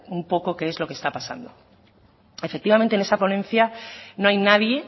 un poco que es lo que está pasando efectivamente en esa ponencia no hay nadie